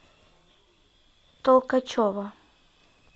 толкачева